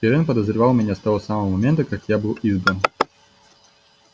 пиренн подозревал меня с того самого момента как я был избран